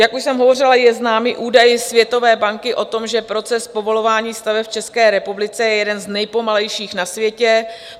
Jak už jsem hovořila, je známý údaj Světové banky o tom, že proces povolování staveb v České republice je jeden z nejpomalejších na světě.